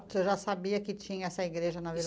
Você já sabia que tinha essa igreja na Vila